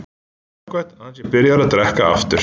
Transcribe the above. Samt jákvætt að hann sé byrjaður að drekka aftur.